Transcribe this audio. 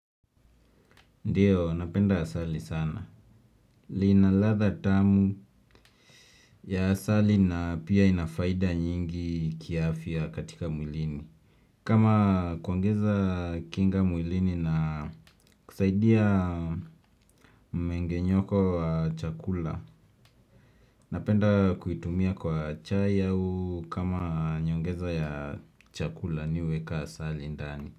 Ndiyo, napenda asali sana. Linaladha tamu ya asali na pia inafaida nyingi kiafia katika mwilini. Kama kuongeza kinga mwilini na kusaidia mmenge nyoko wa chakula. Napenda kuitumia kwa chai au kama nyongeza ya chakula niweka asali ndani.